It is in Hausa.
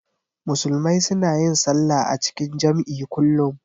Musulmai suna yin sallah a cikin jam'i kullum.